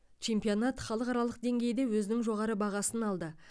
чемпионатын халықаралық деңгейде өзінің жоғары бағасын алды